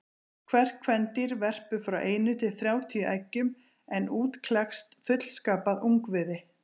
Hvert kvendýr verpir frá einu til þrjátíu eggjum en út klekst fullskapað ungviði.